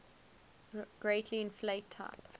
greatly inflate type